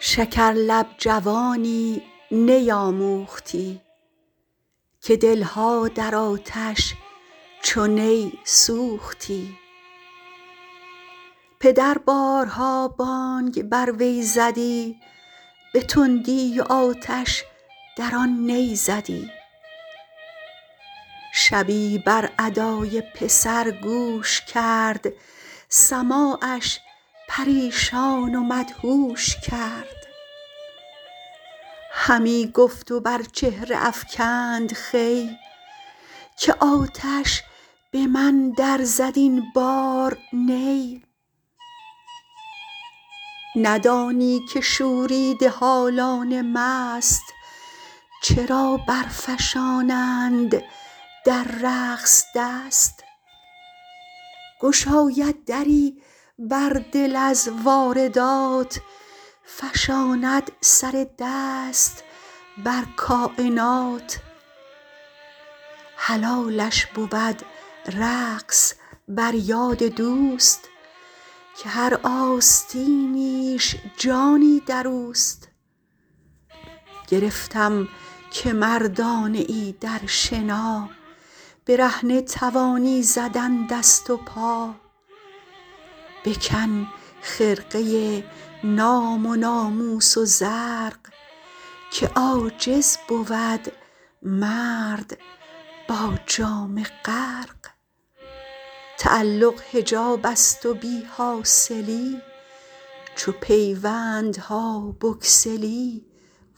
شکر لب جوانی نی آموختی که دلها در آتش چو نی سوختی پدر بارها بانگ بر وی زدی به تندی و آتش در آن نی زدی شبی بر ادای پسر گوش کرد سماعش پریشان و مدهوش کرد همی گفت و بر چهره افکنده خوی که آتش به من در زد این بار نی ندانی که شوریده حالان مست چرا بر فشانند در رقص دست گشاید دری بر دل از واردات فشاند سر دست بر کاینات حلالش بود رقص بر یاد دوست که هر آستینیش جانی در اوست گرفتم که مردانه ای در شنا برهنه توانی زدن دست و پا بکن خرقه نام و ناموس و زرق که عاجز بود مرد با جامه غرق تعلق حجاب است و بی حاصلی چو پیوندها بگسلی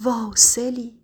واصلی